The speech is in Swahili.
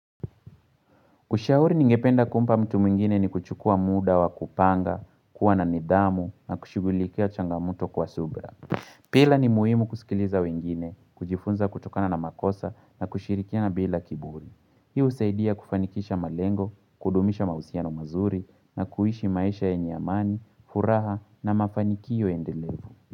Kushauri ningependa kumpa mtu mwingine ni kuchukua muda wa kupanga, kuwa na nidhamu na kushugulikia changamoto kwa subra. Pila ni muhimu kusikiliza wengine, kujifunza kutokana na makosa na kushirikia na bila kiburi. Hii husaidia kufanikisha malengo, kudumisha mahusiano mazuri na kuishi maisha yenye amani, furaha na mafanikio endelevu.